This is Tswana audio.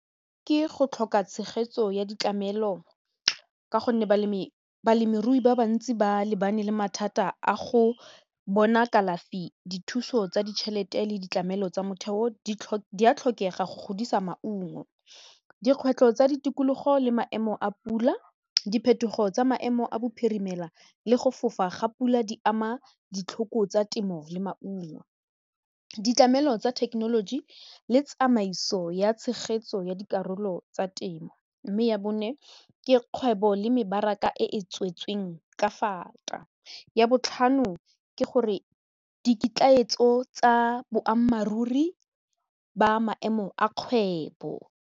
Ke go tlhoka tshegetso ya ditlamelo ka gonne balemirui ba bantsi ba lebane le mathata a go bona kalafi dithuso tsa ditšhelete le ditlamelo tsa motheo di a tlhokega go godisa maungo dikgwetlho tsa ditikologo le maemo a pula diphetogo tsa maemo a bophiri dimela le go fofa ga pula di ama ditlhoko tsa temo le maungo, ditlamelo tsa thekenoloji le tsamaiso ya tshegetso ya dikarolo tsa temo mme ya bone ke kgwebo le mebaraka e e tswetseng ka fata, ya botlhano ke gore diketlaetso tsa boammaaruri ba maemo a kgwebo.